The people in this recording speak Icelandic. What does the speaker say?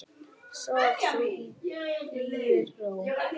Sof þú í blíðri ró.